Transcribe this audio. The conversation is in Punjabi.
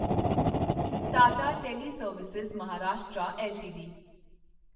Tata teleservices Maharashtra LTD